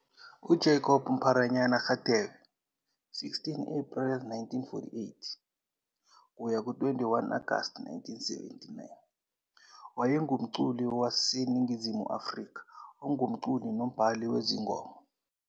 UJacob "Mpharanyana" Radebe, 16 Ephreli 1948 - 21 Agasti 1979, wayengumculi waseNingizimu Afrika ongumculi nombhali wezingoma.